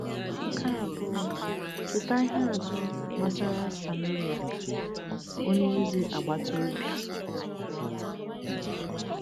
Nke abụọ, cheta ihe atụ gbasara Sameria onye ezi agbata obi.